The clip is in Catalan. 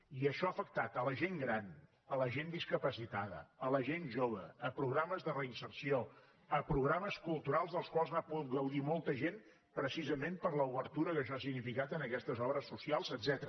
i això ha afectat la gent gran la gent discapacitada la gent jove programes de reinserció programes culturals dels quals n’ha pogut gaudir molta gent precisament per l’obertura que això ha significat en aquestes obres socials etcètera